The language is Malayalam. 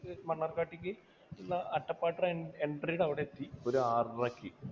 മണ്ണാർക്കാടേക്ക് ഉള്ള അട്ടപ്പാടിയുടെ ആ ഒരു entry യുടെ അവിടെയെത്തി ഒരു ആറരയ്ക്ക്.